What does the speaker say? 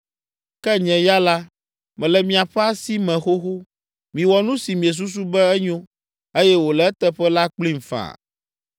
Ke nye ya la, mele miaƒe asi me xoxo. Miwɔ nu si miesusu be enyo eye wòle eteƒe la kplim faa.